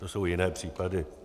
To jsou jiné případy.